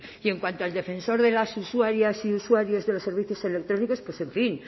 y en cuanto al defensor de las usuarias y usuarios de los servicios electrónicos en fin